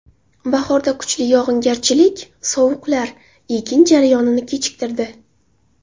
Bahorda kuchli yog‘ingarchilik, sovuqlar ekin jarayonini kechiktirdi.